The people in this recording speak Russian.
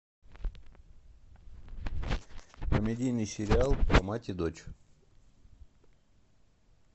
комедийный сериал про мать и дочь